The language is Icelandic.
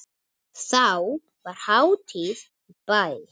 Þá var hátíð í bæ.